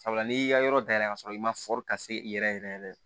Sabula n'i y'i ka yɔrɔ dayɛlɛ ka sɔrɔ i ma ka se i yɛrɛ yɛrɛ